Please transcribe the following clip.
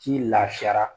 K'i lafiyara